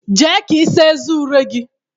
Jee ka ịsa eze ure gị a!